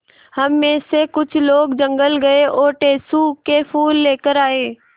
हम मे से कुछ लोग जंगल गये और टेसु के फूल लेकर आये